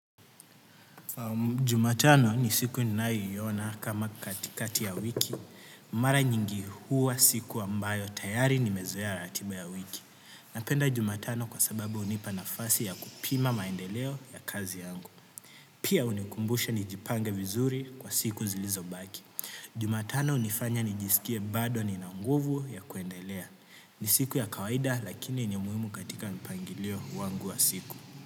Jumatano ni siku ninayoiona kama katikati ya wiki. Mara nyingi huwa siku ambayo tayari nimezoea ratiba ya wiki. Napenda jumatano kwa sababu hunipa nafasi ya kupima maendeleo ya kazi yangu. Pia hunikumbusha nijipange vizuri kwa siku zilizobaki. Jumatano hunifanya nijisikie bado nina nguvu ya kuendelea ni siku ya kawaida lakini ni muhimu katika mpangilio wangu wa siku.